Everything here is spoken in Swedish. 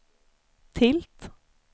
tilt